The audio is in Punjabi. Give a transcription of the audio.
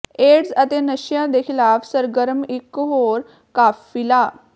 ਏਡਸ ਅਤੇ ਨਸ਼ਿਆਂ ਦੇ ਖਿਲਾਫ਼ ਸਰਗਰਮ ਇੱਕ ਹੋਰ ਕਾਫ਼ਿਲਾ